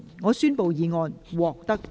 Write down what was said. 我宣布議案獲得通過。